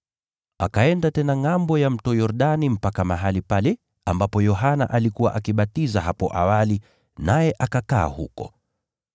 Akaenda tena ngʼambo ya Mto Yordani mpaka mahali pale ambapo Yohana alikuwa akibatiza hapo awali, naye akakaa huko.